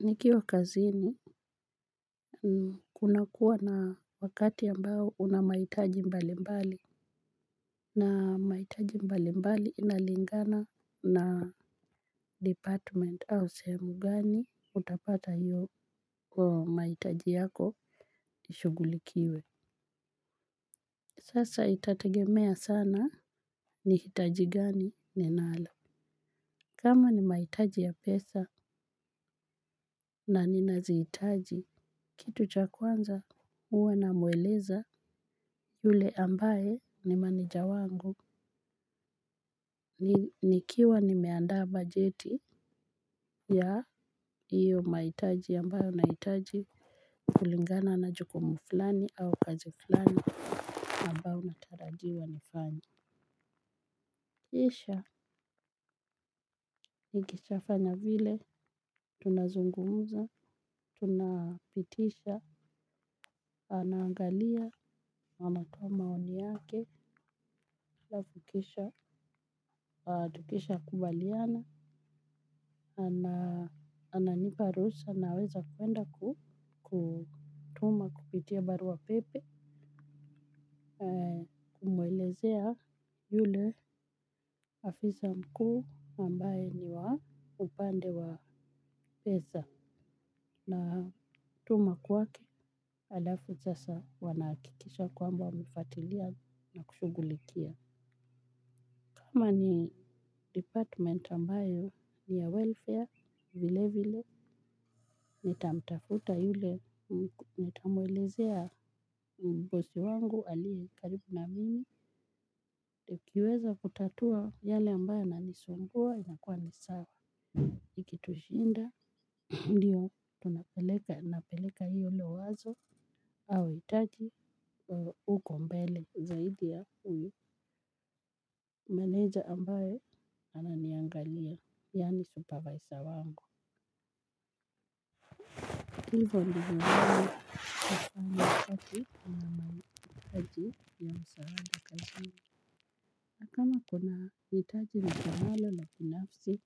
Nikiwa kazini kuna kuwa na wakati ya ambao una mahitaji mbalimbali. Na mahitaji mbali mbali inalingana na department au sehemu gani utapata hiyo kwa mahitaji yako nishughulikiwe. Sasa itategemea sana ni hitaji gani ninalo. Kama ni mahitaji ya pesa na nina zihitaji. Kitu cha kwanza huwe namweleza yule ambaye ni maneja wangu nikiwa nimeandaa bajeti ya hiyo mahitaji ambayo nahitaji kulingana na jukumu fulani au kazi fulani ambayo natarajiwa nifanye. Kisha, nikishafanya vile, tunazungumza, tunapitisha, anaangalia, anatoa maoni yake, alafu kisha adukisha kubaliana, ananipa ruhusa naweza kwenda kutuma kupitia barua pepe, kumwelezea yule afisa mkuu ambaye ni wa upande wa pesa na tuma kwake. Alafu sasa wanahakikisha kwamba wamefuatilia na kushughulikia kama ni department ambayo ni ya welfare vile vile nitamtafuta yule nitamwelezea bosi wangu aliye karibu na mimi tekiweza kutatua yale ambayo yana nisumbua inakuwa ni sawa. Ikitushinda ndiyo tunapeleka napeleka hilo wazo au hitaji huko mbele zaidi ya huyo Manager ambaye ananiangalia, yani supervisor wangu. Hivo ndivyo nini kufanya kati na maniaji ya msaada kazi ni na kama kuna itaji na kumalo na pinafsi